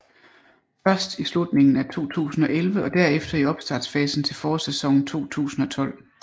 Først i slutningen af 2011 og derefter i opstartsfasen til forårssæsonen 2012